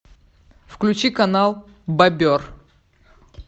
включи канал бобер